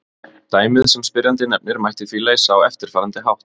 Dæmið sem spyrjandi nefnir mætti því leysa á eftirfarandi hátt.